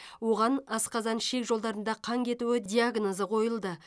оған асқазан ішек жолдарында қан кетуі диагнозы қойылды